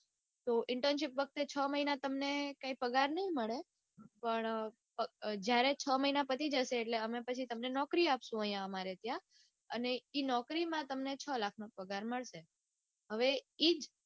તો internship વખતે તમને છ મહિના કાંઈ પગાર નઈ મળે. પણ જયારે છ મહિના પતિ જશે ત્યારે નોકરી આપ્સુ તમને અમારા ત્યાં. અને એ નોકરીમાં તમને છ લાખનો પગાર મળશે. હવે ઈ જ